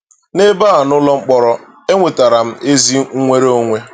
N'ebe a, n'ụlọ mkpọrọ, e nwetara m ezi nnwere onwe!